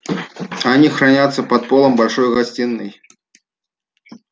они хранятся под полом большой гостиной